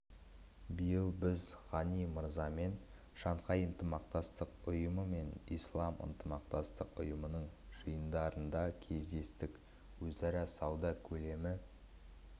биыл біз ғани мырзамен шанхай ынтымақтастық ұйымы мен ислам ынтымақтастығы ұйымының жиындарында кездестік өзара сауда көлемі